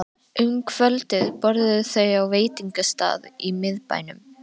Um kvöldið borðuðu þau á veitingastað í miðbænum.